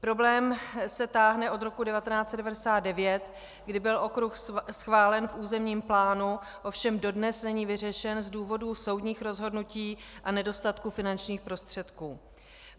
Problém se táhne od roku 1999, kdy byl okruh schválen v územním plánu, ovšem dodnes není vyřešen z důvodu soudních rozhodnutí a nedostatku finančních prostředků.